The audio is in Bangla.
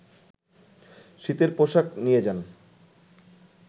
শীতের পোশাক নিয়ে যান